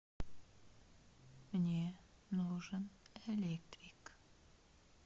мне нужен электрик